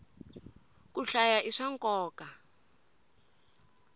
ku hlaya i swa nkoka